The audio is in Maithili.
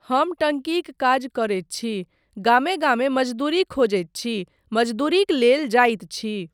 हम टंकीक काज करैत छी, गामे गामे मजदूरी खोजैत छी, मजदूरीक लेल जाइत छी।